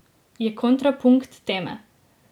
Je kontrapunkt teme.